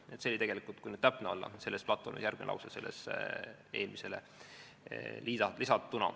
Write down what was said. " See oli tegelikult, kui täpne olla, selle platvormi järgmine lause.